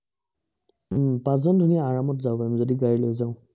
হুম পাঁচজন ধুনীয়া, আৰামত যাব পাৰিম, যদি গাড়ী লৈ যাওঁ।